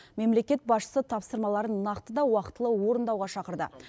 мемлекет басшысы тапсырмаларын нақты да уақытылы орындауға шақырды